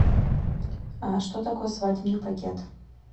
что такое свадебный пакет